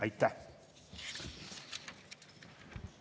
Aitäh!